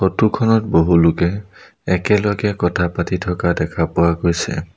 Photo খনত বহুলোকে একেলগে কথা পাতি থকা দেখা পোৱা গৈছে।